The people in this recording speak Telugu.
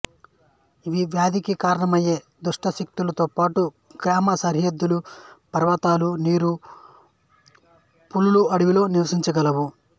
ఇవి వ్యాధికి కారణమయ్యే దుష్టశక్తులతో పాటు గ్రామ సరిహద్దులు పర్వతాలు నీరు పులులు అడవిలో నివసించగలవు